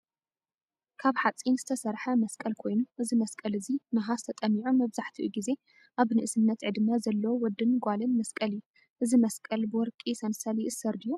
ካብ ሓፂን ዝተሰርሐ መስቀል ኮይኑ እዚ መስቀል እዚ ነሃስ ተጠሚዑ መብዛሕቲኡ ግዜ ኣብ ንእስነት ዕድመ ዘሎ ወድን ጓልን መስቀል እዩ::እዚ መስቀል ብወርቂ ሰንሰል ይእሰር ድዩ ?